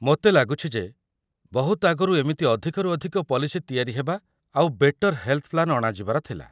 ମୋତେ ଲାଗୁଛି ଯେ ବହୁତ ଆଗରୁ ଏମିତି ଅଧିକରୁ ଅଧିକ ପଲିସି ତିଆରି ହେବା ଆଉ ବେଟର୍ ହେଲ୍‌ଥ୍‌ ପ୍ଲାନ୍ ଅଣାଯିବାର ଥିଲା ।